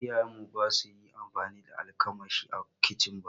Iyayen mu ba su yi amfani da almakashi a kicin ba